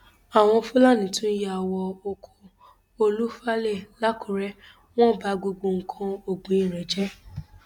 àwọn fúlàní tún yà wọ ọkọ olú falae làkúrè wọn ba gbogbo nǹkan ọgbìn rẹ jẹ